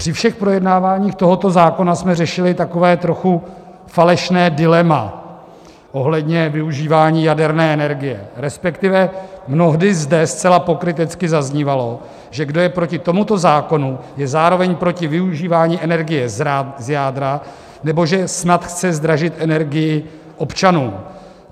Při všech projednáváních tohoto zákona jsme řešili takové trochu falešné dilema ohledně využívání jaderné energie, respektive mnohdy zde zcela pokrytecky zaznívalo, že kdo je proti tomuto zákonu, je zároveň proti využívání energie z jádra, nebo že snad chce zdražit energii občanům.